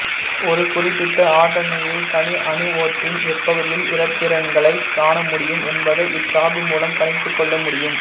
ஒரு குறிப்பிட்ட ஆற்றல் நிலையில் தனி அணுவொன்றின் எப்பகுதியில் இலத்திரன்களைக் காணமுடியும் என்பதை இச் சார்பு மூலம் கணித்துக்கொள்ள முடியும்